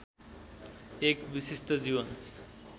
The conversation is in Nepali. एक विशिष्ट जीवन